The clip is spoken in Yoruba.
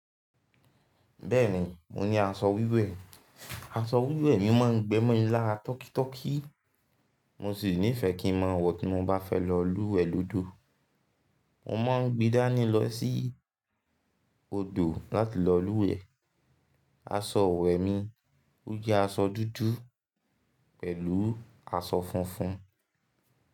Bẹ́ẹ̀ni mo ní aṣọ wíwẹ̀, aṣọ wíwẹ̀ mi ma ń gbẹ́ mọ́ mi lara tọ́ki tọ́ki, mo sì nífẹ́ kí ń mọ wọ̀ tí mo bá fẹ́ lọ lúwẹ̀ẹ́ lódò. Mo ma ń gbe dá ni lọ̀ sí odò láti lọ lúwẹ̀ẹ́. Aṣọ wẹ́ mi ó jẹ́ aṣọ dúdú pẹ̀lú aṣọ funfun.